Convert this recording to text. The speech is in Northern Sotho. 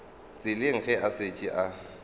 tseleng ge a šetše a